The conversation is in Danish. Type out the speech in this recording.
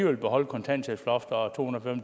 vil beholde kontanthjælpsloftet og to hundrede